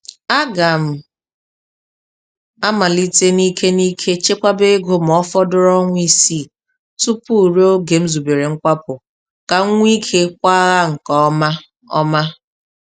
A ga m amalite n'ike n'ike chekwaba ego ma ọfọdụrụ ọnwa isii tupu rue oge m zubere nkwapụ, ka m nwee ike kwaghaa nke ọma. ọma.